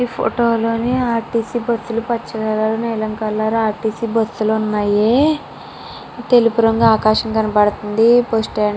ఈ ఫోటో లోని RTC bus లు పచ్చ కలర్ నీలం కలర్ ఆర్ర్టీసీ బస్సు లు ఉన్నాయి తెలుపు రొంగు ఆకాశం కనబడతుంది బస్సు స్టాండ్ --